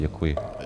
Děkuji.